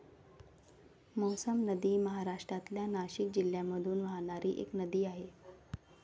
मौसम नदी महाराष्ट्रातल्या नाशिक जिल्ह्यामधून वाहणारी एक नदी आहे.